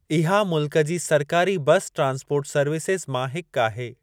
इहा मुल्कु जी सरकारी बस ट्रांसपोर्ट सर्विसिज़ मां हिक आहे।